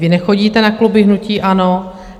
Vy nechodíte na kluby hnutí ANO.